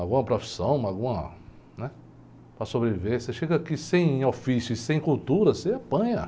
Alguma profissão, uma, alguma, né? Para sobreviver, você chega aqui sem ofício e sem cultura, você apanha.